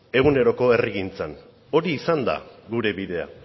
eguneroko herrigintzan hori izan da gure bidea